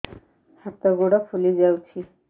ହାତ ଗୋଡ଼ ଫୁଲି ଯାଉଛି